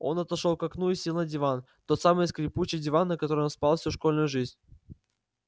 он отошёл к окну и сел на диван тот самый скрипучий диван на котором спал всю школьную жизнь